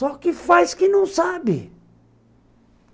Só que faz que não sabe.